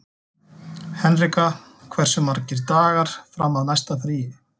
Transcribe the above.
Henrika, hversu margir dagar fram að næsta fríi?